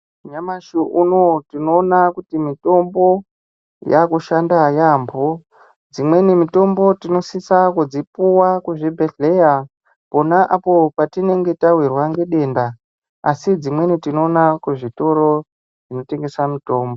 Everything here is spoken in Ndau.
Nyamashi unowu tinoona kuti mitombo yaakushanda yaampho. Dzimweni mitombo tinosisa kudzipuwa kuzvibhedhleya, pona apo patinenge tawirwa ngedenda ,asi dzimweni tinoona kuzvitoro zvinotengesa mitombo .